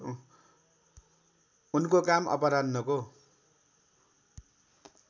उनको काम अपराह्नको